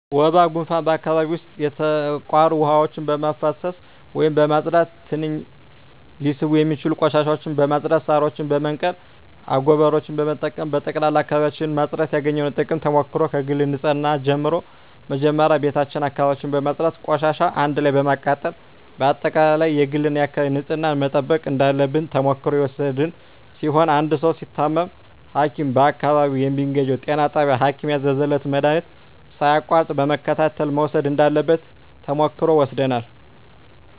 ወባ ጉንፋን በአካባቢው ዉስጥ የተቋሩ ዉሀዎችን በማፋሰስ ወይም በማፅዳት ትንኝ ሊስቡ የሚችሉ ቆሻሻዎችን በማፅዳት ሳሮችን በመንቀል አጎበሮችን በመጠቀም በጠቅላላ አካባቢዎችን ማፅዳት ያገኘነዉ ጥቅምና ተሞክሮ ከግል ንፅህና ጀምሮ መጀመሪያ ቤታችን አካባቢያችን በማፅዳት ቆሻሻዎችን አንድ ላይ በማቃጠል በአጠቃላይ የግልና የአካባቢ ንፅህናን መጠበቅ እንዳለብን ተሞክሮ የወሰድን ሲሆን አንድ ሰዉ ሲታመም ሀኪም በአካባቢው በሚገኘዉ ጤና ጣቢያ ሀኪም ያዘዘለትን መድሀኒት ሳያቋርጥ በመከታተል መዉሰድ እንዳለበት ተሞክሮ ወስደናል